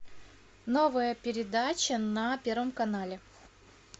новая передача на первом канале